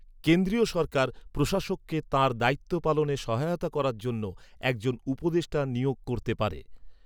কেন্দ্রীয় সরকার প্রশাসককে তাঁর দায়িত্ব পালনে সহায়তা করার জন্য একজনউপদেষ্টা নিয়োগ করতে পারে।